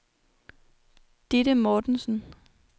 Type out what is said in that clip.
Ditte Mortensen